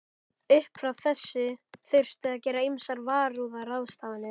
Upp frá þessu þurfti að gera ýmsar varúðarráðstafanir.